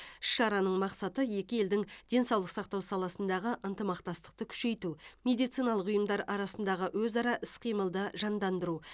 іс шараның мақсаты екі елдің денсаулық сақтау саласындағы ынтымақтастықты күшейту медициналық ұйымдар арасындағы өзара іс қимылды жандандыру